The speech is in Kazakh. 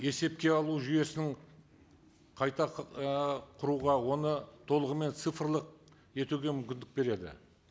есепке алу жүйесін қайта ы құруға оны толығымен цифрлық етуге мүмкіндік береді